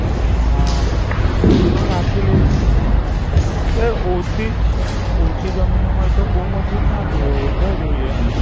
હા. મજૂરો રાખી લઈશ હું તો. તે ઓછી જમીન હોય તો બોવ મજુર ના જોઈએ ઓછા જોઈએ.